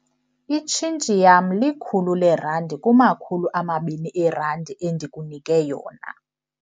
Itshintshi yam likhulu leerandi kumakhulu amabini eerandi endikunike yona.